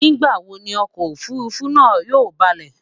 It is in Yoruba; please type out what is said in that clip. nígbà wò Ni ọkọ òfurufú náà yóò baalé?